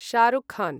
शः रुख् खन्